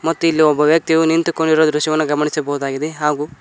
ಮತ್ತು ಇಲ್ಲಿ ಒಬ್ಬ ವ್ಯಕ್ತಿಯು ನಿಂತುಕೊಂಡಿರುವ ದೃಶ್ಯವನ್ನು ಗಮನಿಸಬಹುದಾಗಿದೆ ಹಾಗು--